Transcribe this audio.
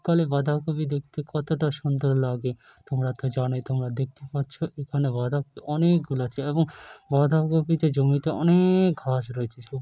তলে বাঁধা কফি দেখতে কতটা সুন্দর লাগে তোমরা তো জানোই তোমরা দেখতে পাচ্ছ এখানে বাঁধা কফি অনেক গুলো আছে এবং বাঁধা কফিতে জমিতে অ-নে-ক ঘাস রয়েছে।